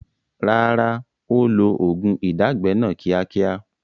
Rárá, ó ó lo oògùn ìdágbẹ́ náà ni kíákíá